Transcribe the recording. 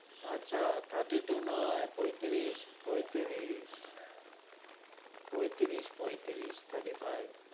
আচ্ছা thirty-two নয়, পঁয়তিরিশ, পঁয়তিরিশ পঁয়তিরিশ, পঁয়তিরিশ thirty-five